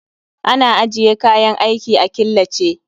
Ana ajiye kayan aiki a killace